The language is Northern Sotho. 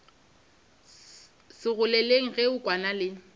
segoleng ge a kwana le